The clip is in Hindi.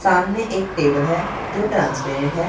सामने एक टेबल है जो ट्रांसपेरेंट है।